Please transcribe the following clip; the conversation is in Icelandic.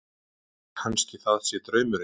Kannski það sé draumurinn.